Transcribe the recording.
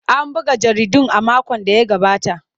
An buga jaridun a makon da ya gabata.